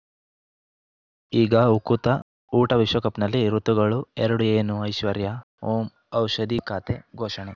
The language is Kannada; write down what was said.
ಈಗ ಉಕುತ ಊಟ ವಿಶ್ವಕಪ್‌ನಲ್ಲಿ ಋತುಗಳು ಎರಡು ಏನು ಐಶ್ವರ್ಯಾ ಓಂ ಔಷಧಿ ಖಾತೆ ಘೋಷಣೆ